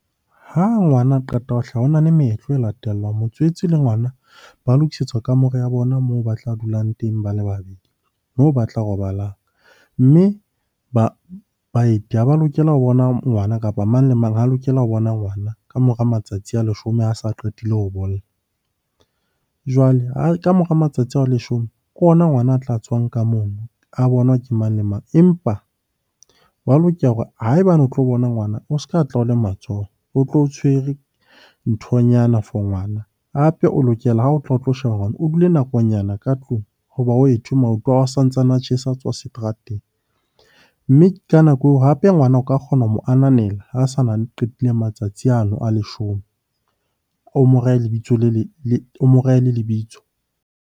Ha ngwana a qeta ho hlaha hona le moetlo o latelwang. Motswetse le ngwana ba lokisetswa kamore ya bona moo ba tla dulang teng ba le babedi, moo ba tla robalang. Mme baeti ha ba lokela ho bona ngwana, kapa mang le mang ha lokela ho bona ngwana ka mora matsatsi a leshome a sa qetile ho bolla. Jwale ka mora matsatsi a leshome, ke ona ngwana a tla a tswang ka mono a bonwa ke mang le mang. Empa wa lokela ha ebane o tlo bona ngwana o s'ka tla o le matsoho, o tle o tshwere nthonyana for ngwana. Hape o lokela ha o tla o tlo sheba ngwana, o dule nakonyana ka tlung ho ba ho ye hothwe maoto a hao sa ntsane a tjhesa a tswa seterateng. Mme ka nako eo hape ngwana o ka kgona ho mo ananela ha a qetile matsatsi ano a leshome. O mo rehe lebitso le o mo rehe lebitso.